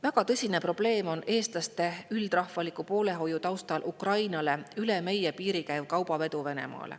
Väga tõsine probleem on eestlaste üldrahvaliku poolehoiu taustal Ukrainale üle meie piiri Venemaale käiv kaubavedu.